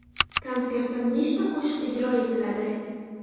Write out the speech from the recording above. Konsertda nechta qo‘shiq ijro etiladi?